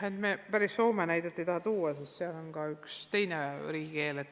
Ma päris Soome näidet ei taha tuua, sest seal on ka üks teine riigikeel.